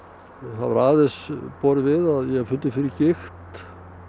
hefur aðeins borið við að ég hef fundið fyrir gigt